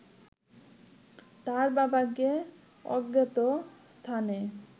তার বাবাকে অজ্ঞাত স্থানে